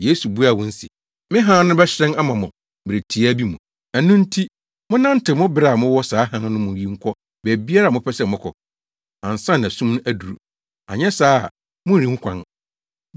Yesu buaa wɔn se, “Me hann no bɛhyerɛn ama mo mmere tiaa bi mu. Ɛno nti, monnantew mu bere a mowɔ saa hann no mu yi nkɔ baabiara a mopɛ sɛ mokɔ, ansa na sum aduru; anyɛ saa a morenhu kwan.